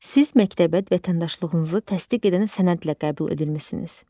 Siz məktəbə vətəndaşlığınızı təsdiq edən sənədlə qəbul edilmisiniz.